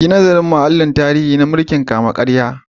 Yi nazarin mahallin tarihi na mulkin kama-karya.